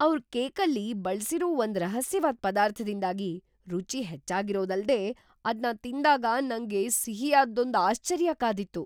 ಅವ್ರ್ ಕೇಕಲ್ಲಿ ಬಳ್ಸಿರೋ ಒಂದ್ ರಹಸ್ಯವಾದ್‌ ಪದಾರ್ಥದಿಂದಾಗಿ ರುಚಿ ಹೆಚ್ಚಾಗಿರೋದಲ್ದೇ ಅದ್ನ ತಿಂದಾಗ ನಂಗೆ ಸಿಹಿಯಾದ್ದೊಂದ್‌ ಆಶ್ಚರ್ಯ ಕಾದಿತ್ತು!